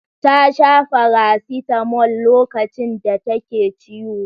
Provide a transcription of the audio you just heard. Ta sha farasitamol lokacin da take ciwo.